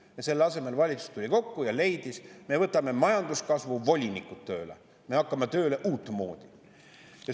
" Selle asemel tuli valitsus kokku ja leidis, et me võtame majanduskasvu volinikud tööle, me hakkame tööle uutmoodi.